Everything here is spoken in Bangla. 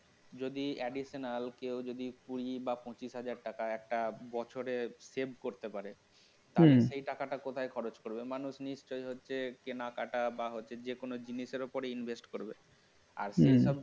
যদি additional যদি কেউ কুঁড়ি বা পঁচিশ হাজার টাকা একটা বছরে save করতে পারে তাহলে সে টাকাটা কোথায় খরচ করবে মানুষ নিশ্চয় হচ্ছে কেনাকাটা বা যে কোন জিনিসের উপর invest করবে আর